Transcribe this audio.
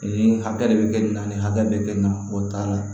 Nin hakɛ de bɛ kɛ nin na nin hakɛ bɛ kɛ nin na o t'a la